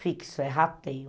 fixo, é rateio.